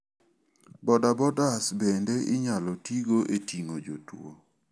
Bodabodas bende inyalo tigo e ting'o jotuo.